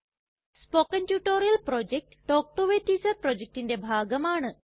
spoken tutorial project talk to a teacher പ്രൊജക്റ്റിന്റെ ഭാഗമാണ്